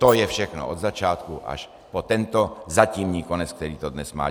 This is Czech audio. To je všechno od začátku až po tento zatímní konec, který to dnes má.